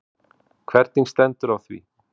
Hvernig stendur á því?